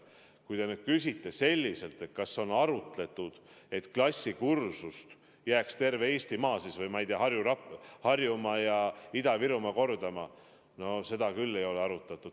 Kui te nüüd küsite, kas on arutletud, et klassikursust jääks kordama terve Eestimaa või, ma ei tea, Harju- ja Raplamaa või Ida-Virumaa – no seda küll ei ole arutatud.